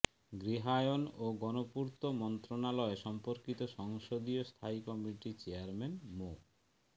গৃহায়ণ ও গণপূর্ত মন্ত্রণালয় সম্পর্কিত সংসদীয় স্থায়ী কমিটির চেয়ারম্যান মো